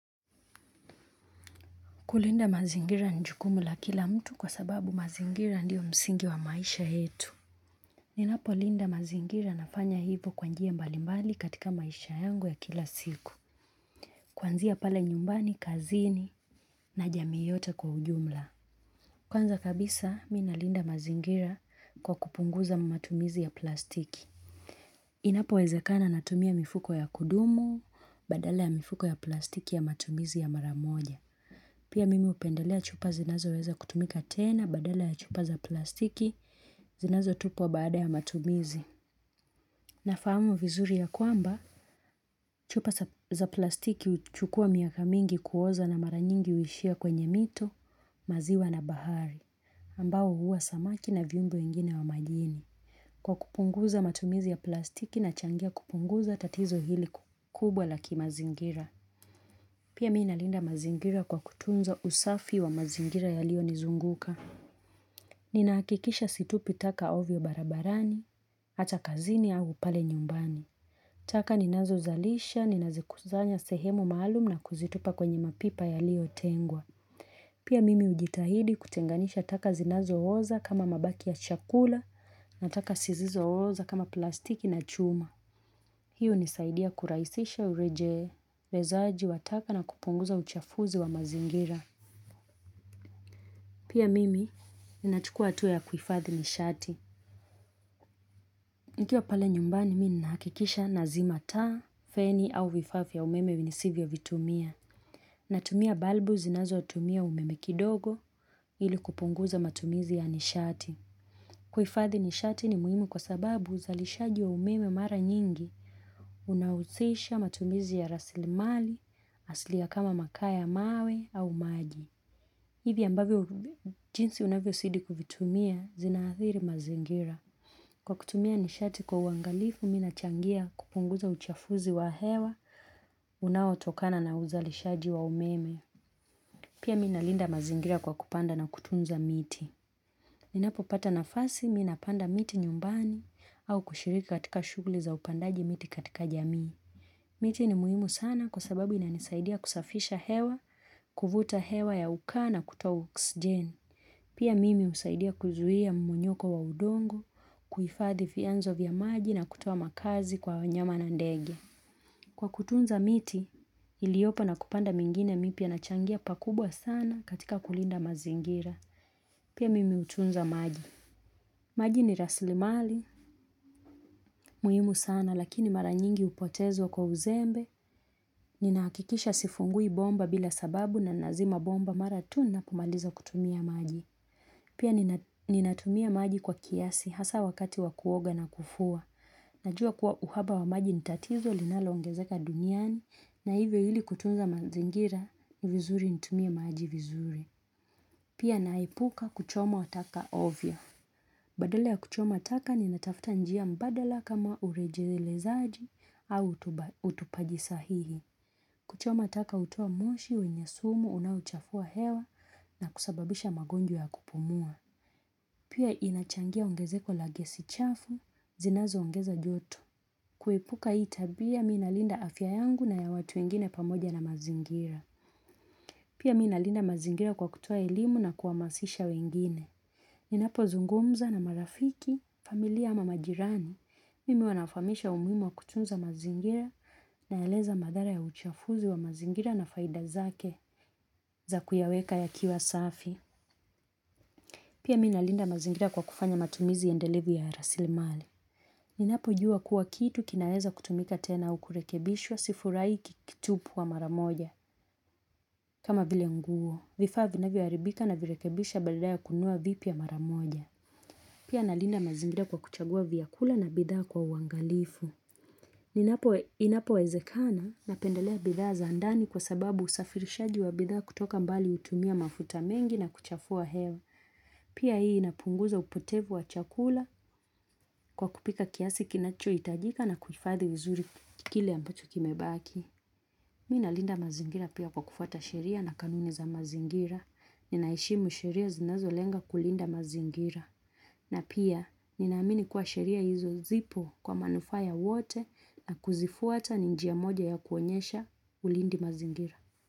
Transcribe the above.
Kulinda mazingira ni jukumu la kila mtu kwa sababu mazingira ndio msingi wa maisha yetu. Ninapolinda mazingira nafanya hivo kwa njia mbalimbali katika maisha yangu ya kila siku. Kuanzia pale nyumbani, kazini na jamii yote kwa ujumla. Kwanza kabisa mi nalinda mazingira kwa kupunguza matumizi ya plastiki. Inapowezekana natumia mifuko ya kudumu, badala ya mifuko ya plastiki ya matumizi ya mara moja. Pia mimi hupendelea chupa zinazoweza kutumika tena badala ya chupa za plastiki zinazotupwa baada ya matumizi. Nafahamu vizuri ya kwamba chupa za plastiki huchukua miaka mingi kuoza na mara nyingi huishia kwenye mito, maziwa na bahari, ambao huua samaki na viumbe wengine wa majini. Kwa kupunguza matumizi ya plastiki nachangia kupunguza tatizo hili kubwa la kimazingira. Pia mi nalinda mazingira kwa kutunza usafi wa mazingira yaliyo nizunguka. Ninahakikisha situpi taka ovyo barabarani, hata kazini au pale nyumbani. Taka ninazozalisha, ninazikuzanya sehemu maalum na kuzitupa kwenye mapipa yaliyotengwa. Pia mimi hujitahidi kutenganisha taka zinazooza kama mabaki ya chakula na taka zisizooza kama plastiki na chuma. Hiyo hunisaidia kurahisisha urejelezaji wa taka na kupunguza uchafuzi wa mazingira. Pia mimi, ninachukua hatua ya kuhifadhi nishati. Nikiwa pale nyumbani, mi ninahakikisha nazima taa, feni au vifaa vya umeme nisivyovitumia. Natumia balbu zinazotumia umeme kidogo ili kupunguza matumizi ya nishati. Kuhifadhi nishati ni muhimu kwa sababu uzalishaji wa umeme mara nyingi. Unahusisha matumizi ya rasilimali, asili ya kama makaa mawe au maji. Hivi ambavyo jinsi unavyozidi kuvitumia zinaathiri mazingira. Kwa kutumia nishati kwa uangalifu, mi nachangia kupunguza uchafuzi wa hewa, unaotokana na uzalishaji wa umeme. Pia mina linda mazingira kwa kupanda na kutunza miti Ninapopata nafasi, mi napanda miti nyumbani, au kushiriki katika shughuli za upandaji miti katika jamii. Miti ni muhimu sana kwa sababu inanisaidia kusafisha hewa, kuvuta hewa ya ukaa na kutoa oxygen. Pia mimi husaidia kuzuia mmonyoko wa udongo, kuhifadhi vyanzo vya maji na kutoa makazi kwa wanyama na ndege. Kwa kutunza miti, iliopo na kupanda mingine mipya, nachangia pakubwa sana katika kulinda mazingira. Pia mimi hutunza maji. Maji ni rasilimali, muhimu sana lakini mara nyingi hupotezwa kwa uzembe, ninahakikisha sifungui bomba bila sababu na nazima bomba mara tu ninapomaliza kutumia maji. Pia ninatumia maji kwa kiasi hasa wakati wa kuoga na kufua. Najua kuwa uhaba wa maji ni tatizo linaloongezeka duniani na hivyo ili kutunza mazingira ni vizuri nitumie maji vizuri. Pia naepuka kuchoma taka ovyo. Badala ya kuchoma taka ninatafuta njia mbadala kama urejelezaji au utupaji sahihi. Kuchoma taka hutoa moshi wenye sumu unaochafua hewa na kusababisha magonjwa ya kupumua. Pia inachangia ongezeko la gesi chafu, zinazoongeza joto. Kuepuka hii tabia mi nalinda afya yangu na ya watu wengine pamoja na mazingira. Pia mi nalinda mazingira kwa kutoa elimu na kuhamasisha wengine. Ninapozungumza na marafiki, familia ama majirani, mimi huwa nawafahamisha umuhimu wa kutunza mazingira, naeleza madhara ya uchafuzi wa mazingira na faida zake za kuyaweka yakiwa safi. Pia mi nalinda mazingira kwa kufanya matumizi endelevu ya rasilimali. Ninapojua kuwa kitu kinaeza kutumika tena au kurekebishwa sifurahii kikitupwa mara moja. Kama vile nguo, vifaa vinavyoharibika navirekebisha badala ya kununua vipya mara moja. Pia nalinda mazingira kwa kuchagua vyakula na bidhaa kwa uangalifu. Inapowezekana napendelea bidhaa za ndani kwa sababu usafirishaji wa bidhaa kutoka mbali hutumia mafuta mengi na kuchafua hewa. Pia hii inapunguza upotevu wa chakula kwa kupika kiasi kinachohitajika na kuhifadhi vizuri kile ambacho kimebaki. Mi nalinda mazingira pia kwa kufuata sheria na kanuni za mazingira. Ninaheshimu sheria zinazolenga kulinda mazingira. Na pia, ninaamini kuwa sheria hizo zipo kwa manufaa ya wote, na kuzifuata ni njia moja ya kuonyesha ulindi mazingira.